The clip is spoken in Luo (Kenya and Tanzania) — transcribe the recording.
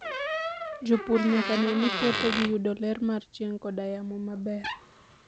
Jopur nyaka ne ni puothegi yudo ler mar chieng' koda yamo maber